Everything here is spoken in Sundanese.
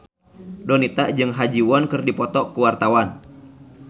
Donita jeung Ha Ji Won keur dipoto ku wartawan